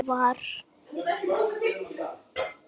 Það var bíllinn þeirra.